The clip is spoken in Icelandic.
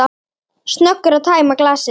Snöggur að tæma glasið.